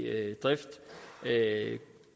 drift